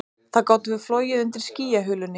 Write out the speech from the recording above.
Þá gátum við flogið undir skýjahulunni